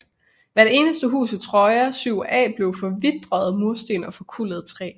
Hvert eneste hus i Troja 7a blev forvitrede mursten og forkullet træ